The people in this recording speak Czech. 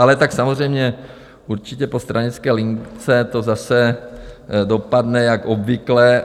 Ale tak samozřejmě, určitě po stranické lince to zase dopadne jak obvykle.